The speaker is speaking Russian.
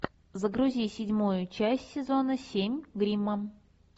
загрузи седьмую часть сезона семь гримма